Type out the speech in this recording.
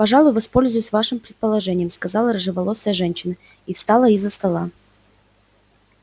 пожалуй воспользуюсь вашим предложением сказала рыжеволосая женщина и встала из-за стола